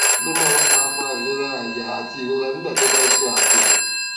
kí ló máa ń fa fa ìrora àyà àti ìrora nígbà tí wón bá ń ṣe àpò